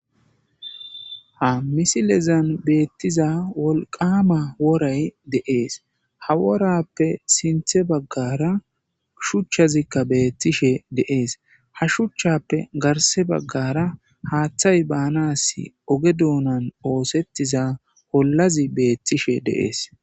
"Ha misilezan beetiza wolqqama woray de'ees ha worappe sinththe baggara shuchchazikka beetishe de'ees ha shuchchappe garsse baggara haathey baanas oge duunan oosetiza ollazi beetishe de'ees."